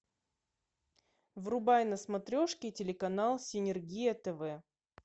врубай на смотрешке телеканал синергия тв